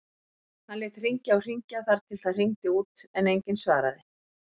Hann lét hringja og hringja þar til það hringdi út en enginn svaraði.